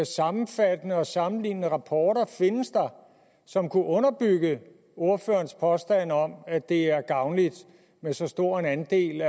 sammenfattende og sammenlignende rapporter findes der som kunne underbygge ordførerens påstand om at det er gavnligt med så stor en andel